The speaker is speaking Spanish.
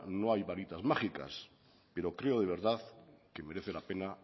no hay varitas mágicas pero creo de verdad que merece la pena